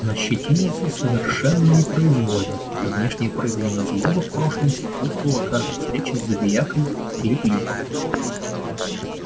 нащитинился совершенно непроизвольно это внешнее проявление злобы в прошлом сопутствовало каждой встрече с забиякой лип липом